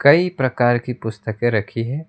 कई प्रकार की पुस्तकें रखी है।